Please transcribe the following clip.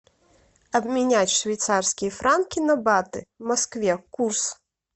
обменять швейцарские франки на баты в москве курс